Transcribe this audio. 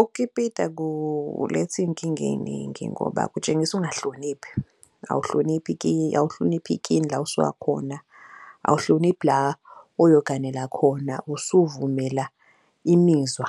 Ukukipita kuletha iy'nkinga ey'ningi ngoba kutshengisa ukungahloniphi. Awuhloniphi awulihloniphi ikini la osuka khona, awuhloniphi la oyoganela khona. Usuvumela imizwa